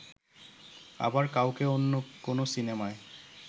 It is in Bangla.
আবার কাউকে অন্য কোনো সিনেমায়